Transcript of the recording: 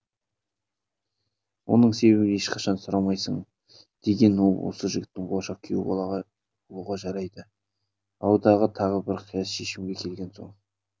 оның себебін ешқашан сұрамайсың деген ол осы жігіт болашақ күйеу болуға жарайды ау деген тағы бір қияс шешімге келген соң